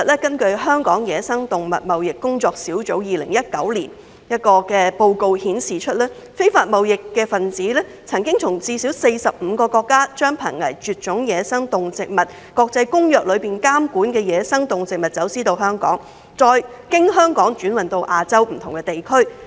根據香港野生動物貿易工作小組在2019年發表的研究報告，非法貿易分子曾從最少45個國家將《瀕臨絕種野生動植物國際貿易公約》監管的野生動植物走私到香港，再經香港轉運至亞洲不同的地區。